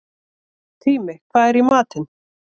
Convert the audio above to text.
Tími, hvað er í matinn?